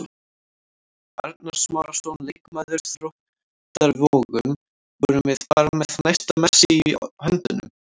Arnar Smárason, leikmaður Þróttar Vogum: Vorum við bara með næsta Messi í höndunum?